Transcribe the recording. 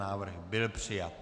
Návrh byl přijat.